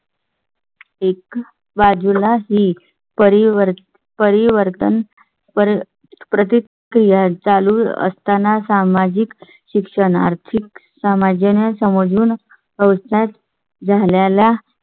एक बाजूला ही परिवर्तन परिवर्तन प्रतिक्रिया चालू असताना सामाजिक शिक्षण, आर्थिक, सामाजिक ना समजून व्यवसायात झाल्या ला